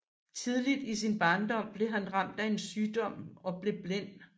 Tidligt i sin barndom blev han ramt af en sygdom og blev blind